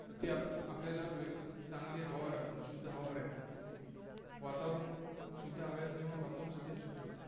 ते आपल्याला चांगली हवा राहते, शुद्ध हवा राहते. वातावरण शुद्ध हवा असल्यामुळे वातावरण शुद्ध शुद्ध होतं.